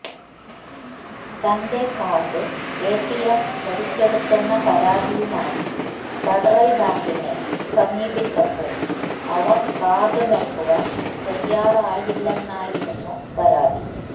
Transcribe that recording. തന്റെ card ATM വലിച്ചെടുത്തുന്ന പരാതിയുമായി ഫെഡറല് ബാങ്കിനെ സമീപിച്ചപ്പോള് അവര് കാര്ഡ് നല്കുവാന് തയ്യാറായില്ലെന്നായിരുന്നു പരാതി